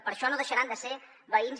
per això no deixaran de ser veïns